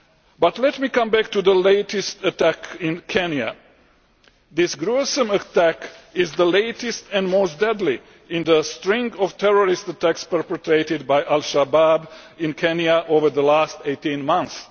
But let me come back to the latest attack in Kenya. This gruesome attack is the latest and most deadly in the string of terrorist attacks perpetrated by Al-Shabaab in Kenya over the last 18 months.